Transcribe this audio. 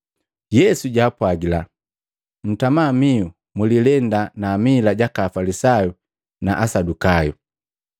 Yesu jwaapwagila, “Ntama miu, mulilenda na amila jaka Afalisayu na Asadukayu!”